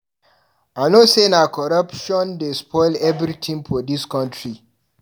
I know sey na corruption dey spoil everytin for dis country